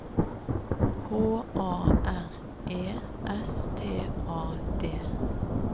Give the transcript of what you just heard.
H A R E S T A D